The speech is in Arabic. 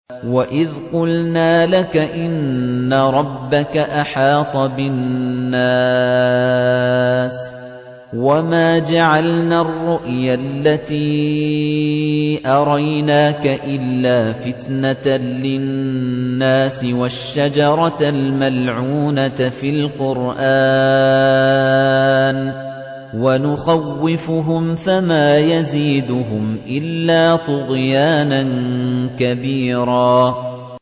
وَإِذْ قُلْنَا لَكَ إِنَّ رَبَّكَ أَحَاطَ بِالنَّاسِ ۚ وَمَا جَعَلْنَا الرُّؤْيَا الَّتِي أَرَيْنَاكَ إِلَّا فِتْنَةً لِّلنَّاسِ وَالشَّجَرَةَ الْمَلْعُونَةَ فِي الْقُرْآنِ ۚ وَنُخَوِّفُهُمْ فَمَا يَزِيدُهُمْ إِلَّا طُغْيَانًا كَبِيرًا